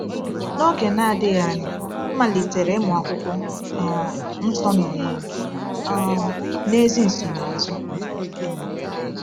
N’oge na-adịghị anya, m malitere ịmụ Akwụkwọ um Nsọ n’onwe m, um na-ezi nsonaazụ.